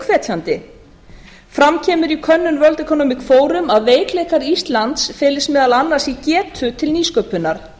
hvetjandi fram kemur í könnun world economic forum að veikleikar íslands felist meðal annars í getu til nýsköpunar